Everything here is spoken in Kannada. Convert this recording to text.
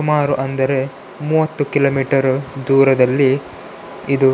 ಸುಮಾರು ಅಂದರೆ ಮೂವತ್ತು ಕಿಲೋಮೀಟರ್‌ ದೂರದಲ್ಲಿ ಇದು --